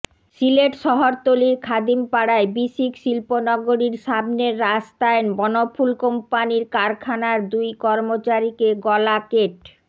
সিলেট শহরতলির খাদিমপাড়ায় বিসিক শিল্প নগরীর সামনের রাস্তায় বনফুল কোম্পানির কারখানার দুই কর্মচারীকে গলা কেট